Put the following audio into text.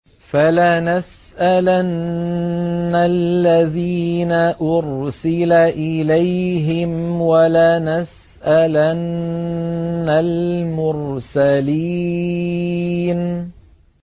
فَلَنَسْأَلَنَّ الَّذِينَ أُرْسِلَ إِلَيْهِمْ وَلَنَسْأَلَنَّ الْمُرْسَلِينَ